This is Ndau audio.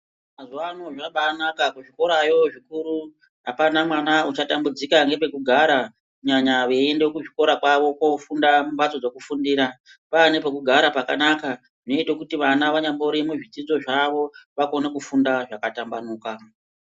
Mazuwaano zvabaanaka kuzvikorayo zvikuru apana mwana uchatambidzika nepekugara kunyanya veinda kuchikora kwavo kofunda vari mumbatso dzekufundira kwaane pekugara pakanaka zvinoite kuti vana vanyari muzvidzidzo zvavo vakone kufunda zvakatambanuka.